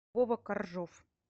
вова коржов